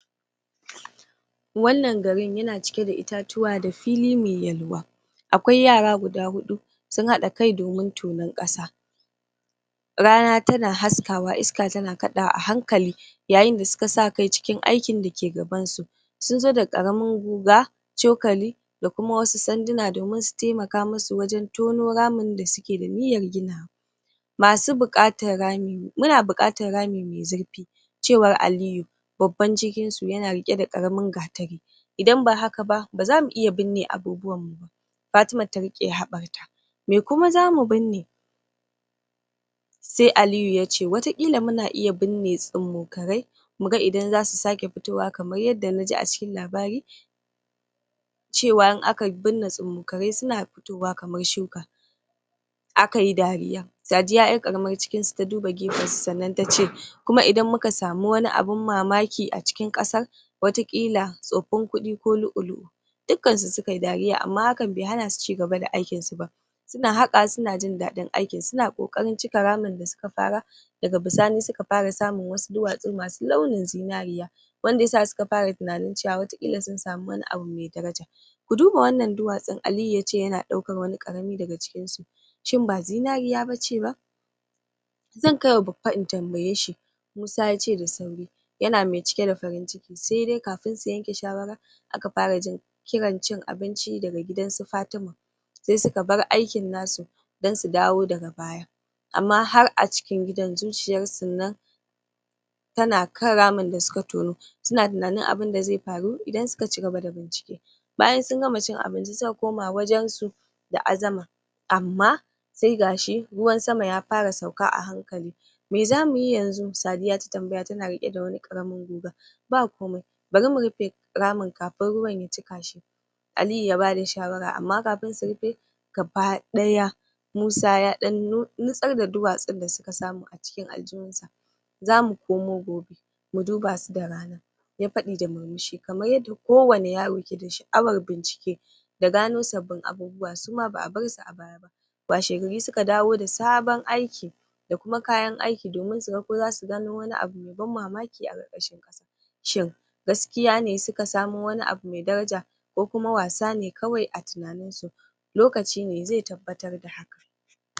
wannan garin yana cike da itatuwa da fili me yalwa akwai yara guda huɗu sun haɗa kai domin tonon ƙasa rana tana haskawa iska tana kaɗawa a hankali yayin da suka sa kai cikin aikin da ke gabansu sun zo da ƙaramin guga cokali da kuma wasu sanduna domin su temaka mu su wajen tono ramin da suke da niyyar ginawa masu buƙatar rami muna buƙatar rami me zurfi cewar Aliyu babban cikin su yana riƙe da ƙaramin gatari idan ba haka ba, ba zamu iya binne abubuwan mu ba Fatima ta riƙe haɓar ta me kuma zamu binne? se Aliyu yace wata ƙila muna iya binne tsummokarai muga idan zasu sake fitowa kamar yadda na ji a cikin labari cewa in aka binne tsummokarai suna fitowa kamar shuuka akayi dariya, Sadiya ƴar ƙaramar cikin su ta duba gefen su sannan ta ce kuma idan muka samu wani abun mamaki a cikin ƙasan wata ƙila tsoffin kuɗi ko lu'u-lu'u dukkan su suka yi dariya amma hakan be hana su cigaba da aikin su ba suna haƙawa suna jin daɗin aikin suna ƙoƙarin cika ramin da suka fara daga bisani suka fara samun wasu duwatsu masu launin zinariya wanda ya sa suka fara tunanin cewa wata ƙila sun samu wani abu me daraja ku duba wannan duwatsun Aliyu yace yana ɗaukan wani ƙarami daga cikin su shin ba zinariya bace ba? zan kaiwa bappa in tambaye shi Musa yace da sauri yana me cike da farinciki se dai kafin su yanke shawara aka fara jin kiran cin abinci daga gidansu Fatima se suka bar aikin na su dan su dawo daga baya amma har a cikin gidan, zuciyar sun nan tana kan ramin da suka tono suna tunanin abunda ze faru idan suka cigaba da bincike bayan sun gama cin abinci suka koma wajen su da azama amma se ga shi ruwan sama ya fara sauka a hankali me zamu yi yanzu? Sadiya ta tambaya tana riƙe da wani ƙaramin guga ba komai, bari mu rufe ramin kafin ruwan ya cika shi Aliyu ya bada shawara amma kafin su rufe gaba ɗaya Musa ya ɗan nutsar da duwatsun da suka samu a cikin aljihun sa zamu komo gobe mu duba su da rana ya faɗi da murmushi kamar yadda kowane yaro ke da sha'awar bincike da gano sabbin abubuwa suma ba'a bar su a baya ba washe gari suka dawo da sabon aiki da kuma kayan aiki domin su ga ko zasu gano wani abu me ban mamaki a ƙarƙashin ƙasa shin gaskiya ne suka samo wani abu me daraja ko kuma wasa ne kawai a tunanin su? lokaci ne ze tabbatar da haka